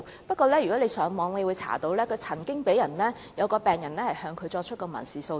不過，如果大家上網翻查紀錄，便可以得知曾經有一名病人向他作出民事訴訟。